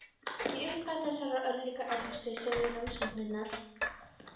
Í upphafi þessarar örlagaríku yfirheyrslu sögðu rannsóknar